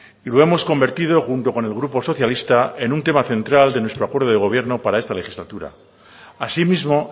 y lo hemos convertido junto con el grupo socialista en un tema central de nuestro acuerdo de gobierno para esta legislatura asimismo